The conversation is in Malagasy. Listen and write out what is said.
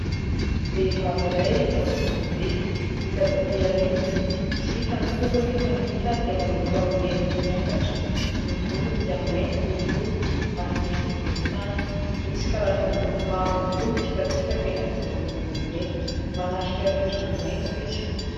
Vehivavy iray lavavolobe ita avy aty aoriana tsy hita ny tongony nefa ny ita dia manomboka amin'ny heliny no miakatra. Ny volony dia mainty oloholo ary misy volontany misy karazana loko mavo ihany koa mitsifatsifaka eny ampivoan'ny volony eny manatrika rindrina maitso izy.